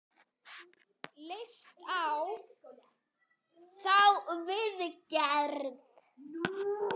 Leistu á þá viðgerð?